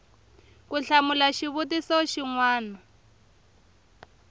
ku hlamula xivutiso xin wana